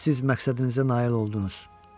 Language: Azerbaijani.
Siz məqsədinizə nail oldunuz.